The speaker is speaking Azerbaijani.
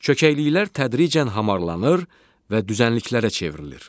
Çökəkliklər tədricən hamarlanır və düzənliklərə çevrilir.